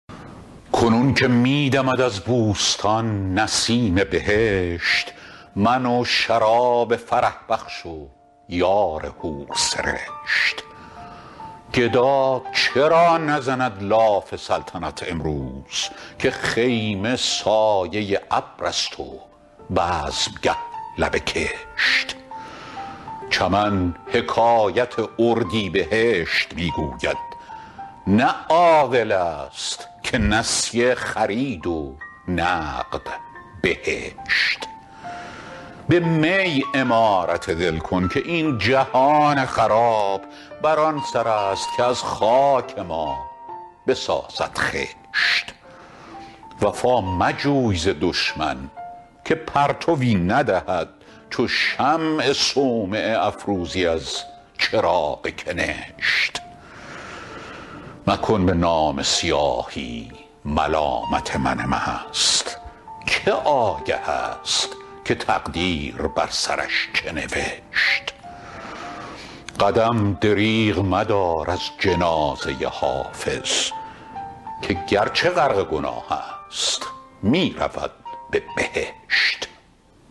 کنون که می دمد از بوستان نسیم بهشت من و شراب فرح بخش و یار حورسرشت گدا چرا نزند لاف سلطنت امروز که خیمه سایه ابر است و بزمگه لب کشت چمن حکایت اردیبهشت می گوید نه عاقل است که نسیه خرید و نقد بهشت به می عمارت دل کن که این جهان خراب بر آن سر است که از خاک ما بسازد خشت وفا مجوی ز دشمن که پرتوی ندهد چو شمع صومعه افروزی از چراغ کنشت مکن به نامه سیاهی ملامت من مست که آگه است که تقدیر بر سرش چه نوشت قدم دریغ مدار از جنازه حافظ که گرچه غرق گناه است می رود به بهشت